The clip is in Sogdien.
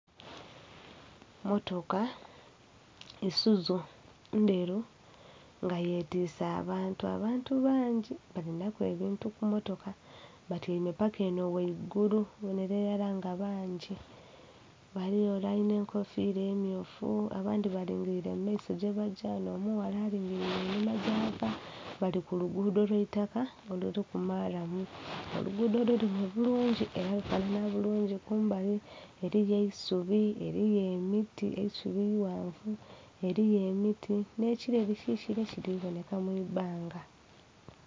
Motoka Isuzu ndheru nga yetwise abantu, abantu bangi balinha ku ebintu ku motoka batyaime paka enho ghaigulu obonhera iralala nga bangi. Ghaligho ore alinha enkofira emyufu abandhi balingirire mu maiso gyebagya, onho omughala alingirire einhuma gyava bali ku luguudo lwa itaka oluliku maalamu. Oluguudo lulime bulungi era lufanana bulungi, kumbali eriyo eisubi, eriyo emiti eisubi ighanvu, eriyo emiti nhe kireri kikaire kiri kubonheka mwibbanga.